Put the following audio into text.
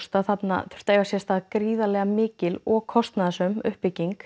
að þarna þyrfti að eiga sér stað gríðarlega mikil og kostnaðarsöm uppbygging